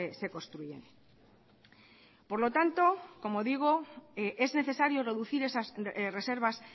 se construyen por lo tanto como digo es necesario reducir esas reservas